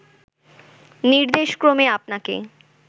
নির্দেশক্রমে আপনাকে